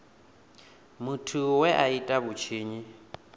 muthu we a ita vhutshinyi